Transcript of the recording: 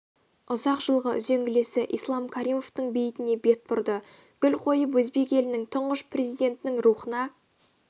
ұзақ жылғы үзеңгілесі ислам каримовтің бейітіне бет бұрды гүл қойып өзбек елінің тұңғыш президентінің рухына